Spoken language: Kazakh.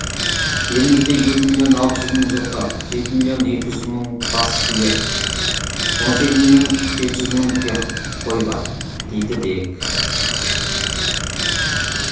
елімізде екі миллион алты жүз мың жылқы жеті миллион екі жүз мың бас сиыр он сегіз миллион жеті жүз мың тұяқ қой бар дейді дерек